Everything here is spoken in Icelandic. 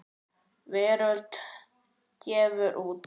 Veröld gefur út.